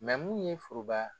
mun ye foroba